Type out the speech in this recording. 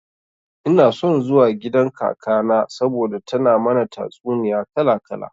Ina son zuwa gidan kakana saboda tana mana tatsuniya kala kala.